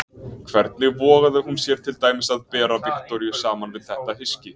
Hvernig vogaði hún sér til dæmis að bera Viktoríu saman við þetta hyski?